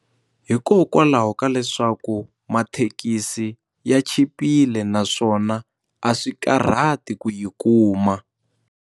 Hikokwalaho ka leswaku mathekisi ya chipile naswona a swi karhati ku yi kuma.